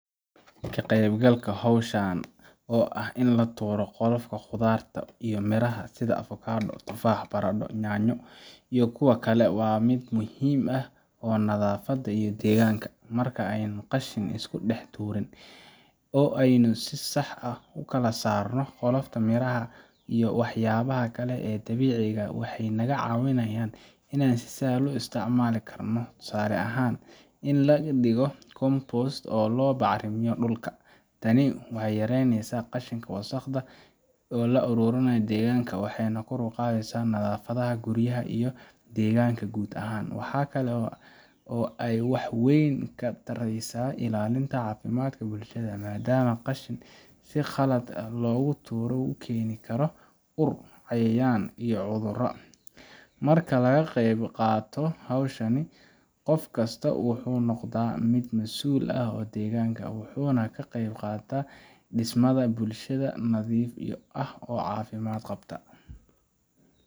Ka qaybgalka hawshan, oo ah in la tuuro qolofka khudaarta iyo miraha sida avocado, tufaax, baradho, yaanyo, iyo kuwo kale, waa mid muhiim u ah nadaafadda iyo deegaanka. Marka aynaan qashin isku dhex tuurin, oo aynu si sax ah u kala saarno qolofka miraha iyo waxyaabaha kale ee dabiiciga ah, waxay naga caawinayaan in si sahlan loo isticmaalo mar kale tusaale ahaan, in laga dhigo compost si loo bacrimiyo dhulka. Tani waxay yareynaysaa qashinka wasakhda ah ee ku urura deegaanada, waxayna kor u qaadaysaa nadaafadda guryaha iyo deegaanka guud ahaan. Waxaa kale oo ay wax weyn ka taraysaa ilaalinta caafimaadka bulshada, maadaama qashin si khaldan loo tuuray uu keeni karo ur, cayayaan, iyo cudurro. Marka laga qeybqaato hawshan, qof kastaa wuxuu noqdaa mid mas’uul ka ah deegaanka, wuxuuna ka qeybqaataa dhisidda bulshada nadiif ah oo caafimaad qabta.